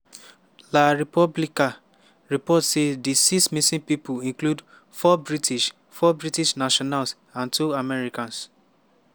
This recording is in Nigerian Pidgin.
la repubblica report say di six missing pipo include four british four british nationals and two americans.